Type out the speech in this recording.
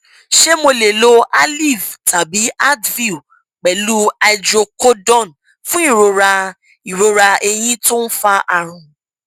ṣé mo lè lo aleve tàbí advil pẹlú hydrocodone fún ìrora ìrora eyín tó ń fa àrùn